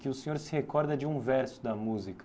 Que o senhor se recorda de um verso da música.